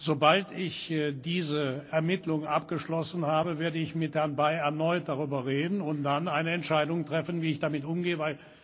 Sobald ich diese Ermittlungen abgeschlossen habe, werde ich mit Herrn Bay erneut darüber reden und dann eine Entscheidung treffen, wie ich damit umgehe.